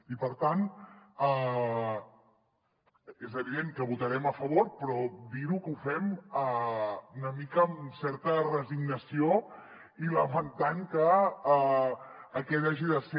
i per tant és evident que hi votarem a favor però dir que ho fem una mica amb certa resignació i lamentant que aquest hagi de ser